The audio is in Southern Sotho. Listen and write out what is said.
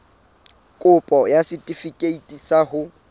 kopo ya setefikeiti sa ho